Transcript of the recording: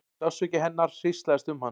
Sársauki hennar hríslaðist um hann.